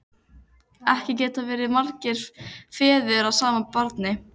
Ekki geta verið margir feður að sama barni!